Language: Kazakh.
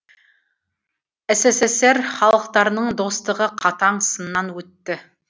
ссср халықтарының достығы қатаң сыннан өтті